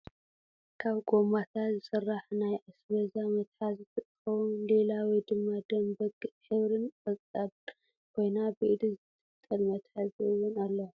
ካብ ጎማታት ዝስራሕ ናይ ኣስበዛ መትሓዚት እንትከውን ሊላ ወይ ድማ ደም በጊዕ ሕብሪን ፣ ቆፃን ኮይና ብኢድ ዝጥልጠል መትሓዚ እወን ኣለዋ።